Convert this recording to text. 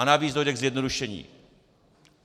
A navíc dojde k zjednodušení.